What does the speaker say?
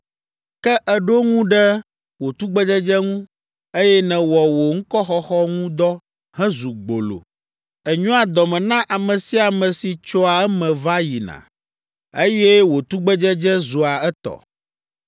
“Ke èɖo ŋu ɖe wò tugbedzedze ŋu, eye nèwɔ wò ŋkɔxɔxɔ ŋu dɔ hezu gbolo. Ènyoa dɔ me na ame sia ame si tsoa eme va yina, eye wò tugbedzedze zua etɔ.